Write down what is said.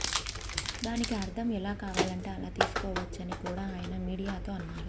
దానికి అర్థం ఎలా కావాలంటే అలా తీసుకోవచ్చని కూడా ఆయన మీడియాతో అన్నారు